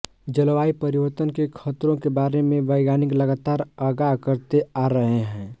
जलवायु परिवर्तन के खतरों के बारे में वैज्ञानिक लगातार आगाह करते आ रहे हैं